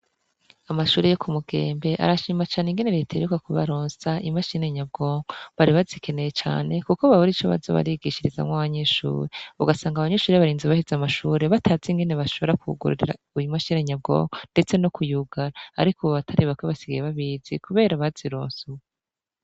Amashuri yo ku mugembe arashima cane ingene reterekwa ku baronsa imashinenyabwonke bari bazikeneye cane, kuko babure ico bazo barigishirizamwo abanyeshure ugasanga abanyeshuri barinzi baheze amashure batazi ingene bashobora kugururira uyu mashinenyabwonke, ndetse no kuyugara, ariko ubo batari bakwe basigaye babizi, kubera bazirosi ua.